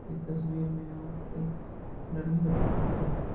इस तस्वीर में आप एक लड़की को देख सकते हैं।